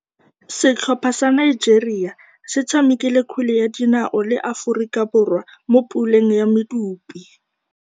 Setlhopha sa Nigeria se tshamekile kgwele ya dinaô le Aforika Borwa mo puleng ya medupe.